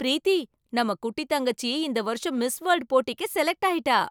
ப்ரீத்தி! நம்ம குட்டி தங்கச்சி இந்த வருஷம் மிஸ் வேல்டு போட்டிக்கு செலக்ட் ஆயிட்டா.